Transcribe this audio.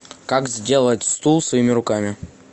как сделать стул своими руками